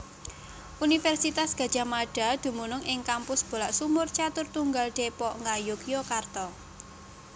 Universitas Gadjah Mada dumunung ing Kampus Bulaksumur Caturtunggal Depok Ngayogyakarta